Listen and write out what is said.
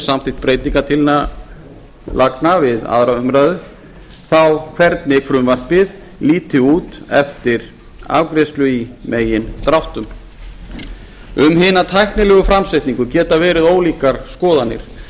samþykkt breytingartillagna við önnur umræða hvernig frumvarpið líti í megindráttum út eftir afgreiðslu alþingis um hina tæknilegu framsetningu geta verið ólíkar skoðanir